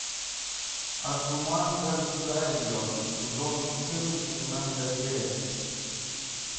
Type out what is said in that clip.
адзуманга дайо сезон четырнадцать двенадцатая серия